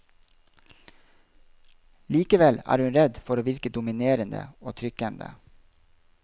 Likevel er hun redd for å virke dominerende og trykkende.